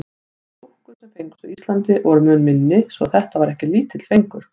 Þær dúkkur, sem fengust á Íslandi, voru mun minni svo þetta var ekki lítill fengur.